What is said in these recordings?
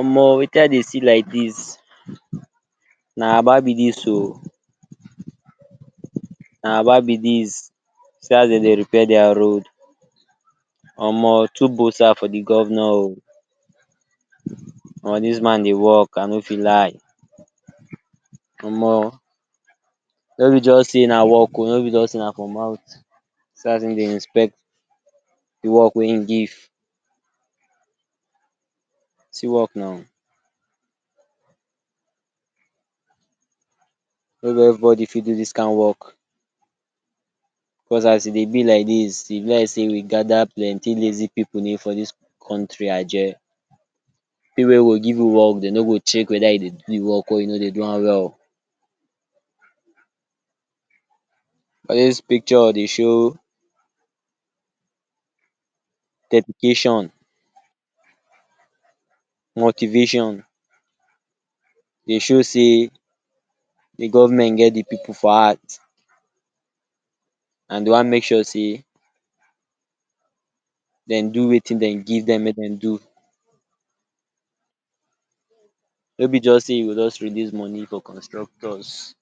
omo wetin I dey see like dis, na aba bi dis o, na aba be dis, see as dem dey repair dia road. omo two bosa for de governor o. omo dis man dey work I no fit lie. Omo no be just sey na work o no be just sey na for mouth. See as in dey inspect de work wey in give, see work now. No be everybody fit do dis kind work because as e dey be like dis e be like sey we gather plenty lazy pipu ni for dis country ajeh. Pipu wey go give you work dey no go check whether you dey do work or you no dey do am well. All dis picture dey show dedication, motivation, dey show sey de government get de pipu for heart and dey wan make sure sey dem do wetin den give dem may dem do. No be just sey you go just release money for constructors.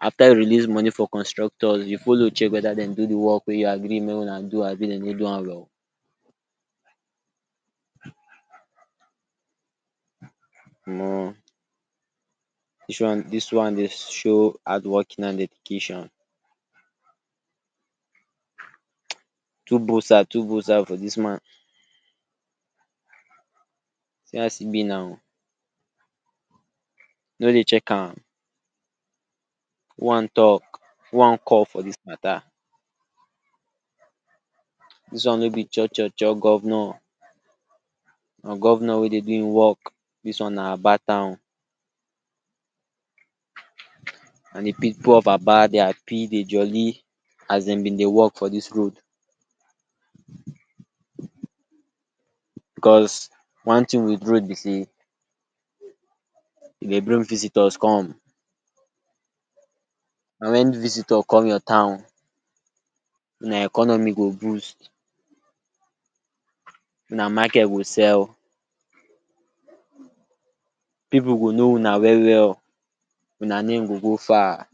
After you release money for constructors you follow check wheether dem do de work wey you agree may una do abi dey no do am well. um dis one dis one dey show hard working and dedication. Two bosa two bosa for dis man see as e be now, you no dey check am, one talk one cough for dis matter, dis one no be cho cho cho governor, na governor wey dey do im work. Dis one na aba town and di pipu of aba dey happy dey jolly as dem been dey work for dis road because one thing with road be sey e dey bring visitors come, na when visitor come your town una economy go boost, una market go sell. Pipu go know una well well, una name go go far.